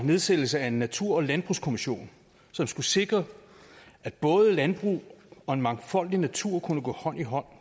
nedsættelse af en natur og landbrugskommission som skulle sikre at både landbrug og en mangfoldig natur kunne gå hånd i hånd